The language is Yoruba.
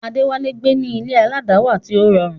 Adewale ń gbé ní ilé aládàáwà tí ó rọrùn.